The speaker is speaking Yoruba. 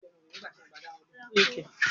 Emi ko tii ri ẹrọ ọṣẹ iwẹ titi di ana